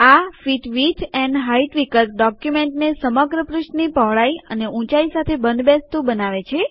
આ fit width and height વિકલ્પ ડોક્યુમેન્ટને સમગ્ર પૃષ્ઠની પહોળાઈ અને ઊંચાઈ સાથે બંધબેસતુ બનાવે છે